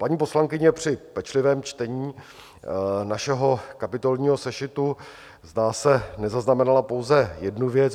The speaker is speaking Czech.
Paní poslankyně při pečlivém čtení našeho kapitolního sešitu, zdá se, nezaznamenala pouze jednu věc.